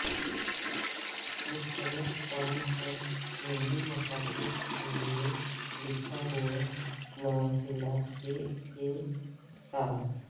مستند کام پر مبنی مقاصد کے لئے لکھا ہوا مواصلات کے کام